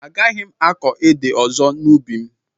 Agaghị m akọ ede ọzọ n'ubi m